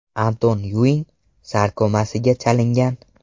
Anton Yuing sarkomasiga chalingan.